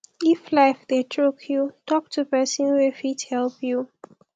if life dey choke yu talk to pesin wey fit help yu